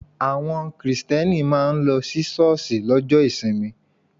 Àwọn Kristẹni máa ń lọ sí ṣọ́ọ̀ṣì lọ́jọ́ ìsinmi.